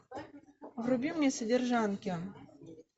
вруби мне содержанки